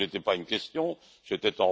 Ce n'était pas une question, c'était...,